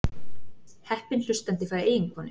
Heppinn hlustandi fær eiginkonu